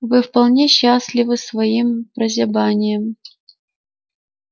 вы вполне счастливы своим прозябанием